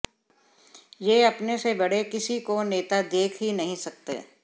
ये अपने से बड़े किसी काे नेता देख ही नहीं सकते